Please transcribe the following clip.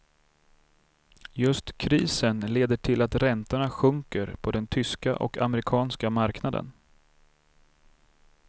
Just krisen leder till att räntorna sjunker på den tyska och amerikanska marknaden.